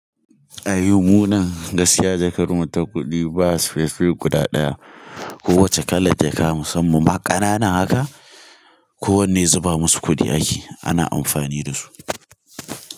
A yau munan gaskiya jakar mu ta kudi ba specifuc guda daya. Ko wace kala jakka musamman kanana haka. Ko wanne zuba musu kudi ake, ana amfani dasu.